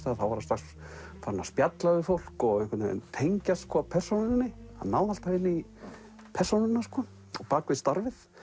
þá var hann strax farinn að spjalla við fólk og einhvern veginn tengjast persónunni hann náði alltaf inn í persónuna á bak við starfið